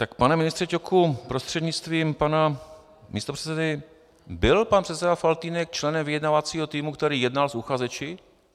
Tak pane ministře Ťoku prostřednictvím pana místopředsedy, byl pan předseda Faltýnek členem vyjednávacího týmu, který jednal s uchazeči?